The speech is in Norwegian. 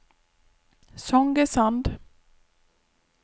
Songesand